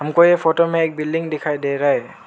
को ये फोटो में एक बिल्डिंग दिखाई दे रहा है।